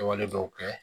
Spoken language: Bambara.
Kɛwale dɔw kɛ